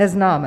Neznáme!